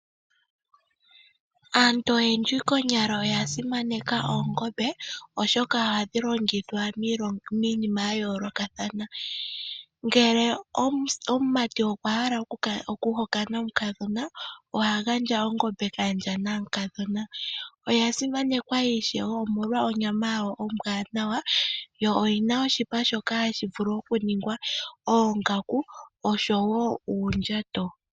Aantu oyendji konyala oya simaneka oongombe oshoka ohadhi longithwa miinima yayoolokathana ngele omumati okwa hala okuhokana omukadhona oha gandja ongombe kaandja mukadhona. Oya simanekwa ishewe molwa onyama yayo ombwaanawa yo oyi na oshipa shoka hashi vulu okuningwa oongaku osho wo uundjato.